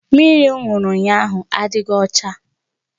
Mmiri m ṅụrụ ụnyahụ adịghị ọcha